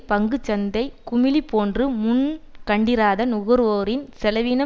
பங்கு சந்தை குமிழி போன்று முன்கண்டிராத நுகர்வோர் செலவின